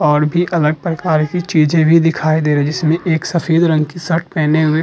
और भी अलग प्रकार की चीजें भी दिखाई दे रही हैं जिसमें एक सफ़ेद रंग की शर्ट पहने हुए --